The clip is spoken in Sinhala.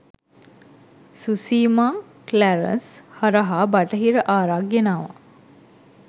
සුසීමා ක්ලැරන්ස් හරහා බටහිර ආරක් ගෙනාවා